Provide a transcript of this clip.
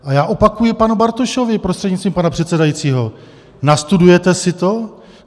A já opakuji panu Bartošovi, prostřednictvím pana předsedajícího, nastudujete si to?